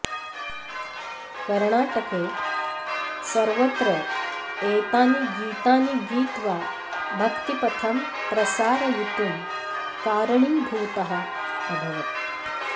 कर्णाटके सर्वत्र एतानि गीतानि गीत्वा भक्तिपथं प्रसारयितुं कारणीभूतः अभवत्